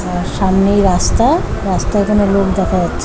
সামনেই রাস্তা রাস্তার এই খানে লোক দেখা যাচ্ছে।